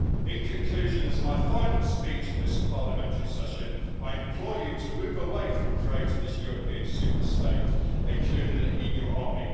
In conclusion, as my final speech in this parliamentary session, I implore you to move away from creating this European superstate, including an EU army.